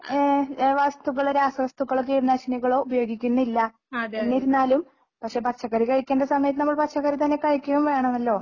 ഏഹ് വസ്തുക്കള് രാസവസ്തുക്കളോ കീടനാശിനികളോ ഉപയോഗിക്കുന്നില്ല എന്നിരുന്നാലും പക്ഷേ പച്ചക്കറി കഴിക്കേണ്ട സമയത്ത് നമ്മൾ പച്ചക്കറി തന്നെ കഴിക്കുകയും വേണമല്ലോ